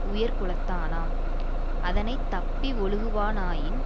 உயர் குலத்தனாம் அதனை தப்பி ஒழுகுவா னாயின்